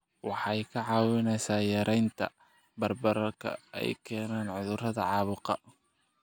Waxay kaa caawinaysaa yaraynta bararka ay keenaan cudurrada caabuqa.